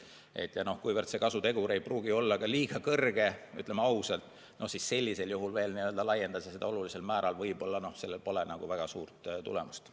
Ja kuna see kasutegur ei pruugi olla väga suur, ütleme ausalt, siis sellisel juhul veel laiendada seda ringi olulisel määral – sellel pole ehk väga suurt tulemust.